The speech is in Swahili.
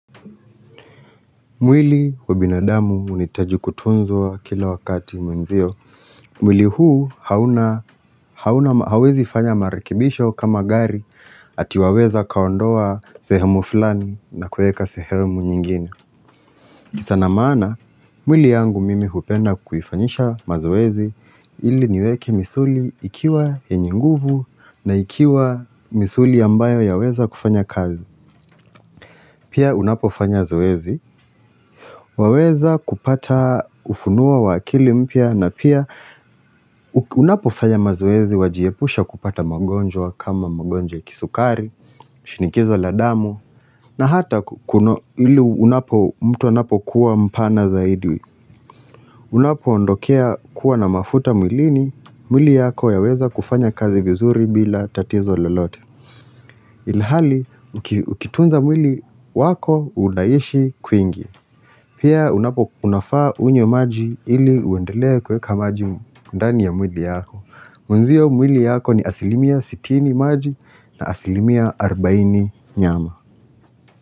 Mwili wa binadamu unahitaji kutunzwa kila wakati mwenzio. Mwili huu hauwezi fanya marekibisho kama gari ati waweza kaondoa sehemu flani na kueka sehemu nyingine. Kisha na maana, mwili yangu mimi hupenda kuifanyisha mazoezi ili niweke misuli ikiwa yenye nguvu na ikiwa misuli ambayo yaweza kufanya kazi. Pia unapofanya zoezi. Waweza kupata ufunua wa akili mpya na pia unapofaya mazoezi wajiepusha kupata magonjwa kama magonjwa kisukari, shinikizo la damu na hata ili unapo mtu anapo kuwa mpana zaidi Unapoondokea kuwa na mafuta mwlini, mwli yako yaweza kufanya kazi vizuri bila tatizo lolote Ilihali, ukitunza mwili wako unaishi kwingi Pia unapo unafaa unywe maji ili uendelea kuweka maji ndani ya mwili yako Mwanzio mwili yako ni asilimia 60 maji na asilimia 40 nyama.